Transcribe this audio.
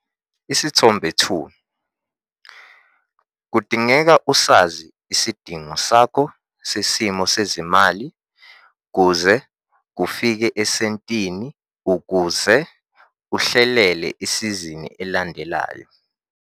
Isithombe 2- Kudingeka usazi isidingo sakho sesimo sezimali kuze kufike esentini ukuze uhlelele isizini elandelayo.